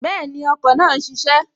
Bẹ́ẹ̀ni, ọkọ̀ náà n ṣiṣẹ́